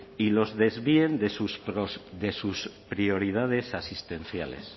y los desvíen de sus prioridades asistenciales